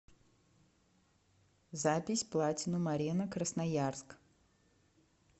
запись платинум арена красноярск